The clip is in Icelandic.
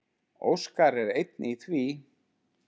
Óskar er einn í því.